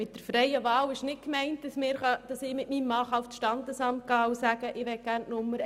Mit der freien Wahl ist nicht gemeint, das ich mit meinem Mann zum Standesamt gehen und sagen kann, ich möchte gerne die Nummer